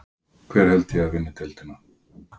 Hver held ég að vinni deildina?